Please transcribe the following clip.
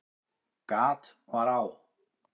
Gat var á